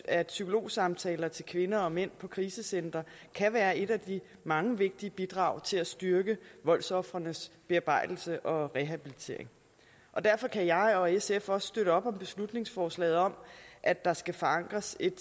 at psykologsamtaler til kvinder og mænd på krisecentre kan være et af de mange vigtige bidrag til at styrke voldsofrenes bearbejdelse og rehabilitering og derfor kan jeg og sf også støtte op om beslutningsforslaget om at der skal forankres et